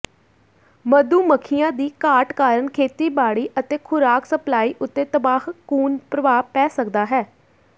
ਮਧੂ ਮੱਖੀਆਂ ਦੀ ਘਾਟ ਕਾਰਨ ਖੇਤੀਬਾੜੀ ਅਤੇ ਖੁਰਾਕ ਸਪਲਾਈ ਉੱਤੇ ਤਬਾਹਕੁਨ ਪ੍ਰਭਾਵ ਪੈ ਸਕਦਾ ਹੈ